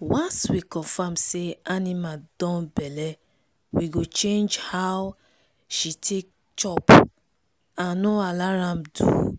once we confirm say animal don belle we go change how she take chop and no allow am do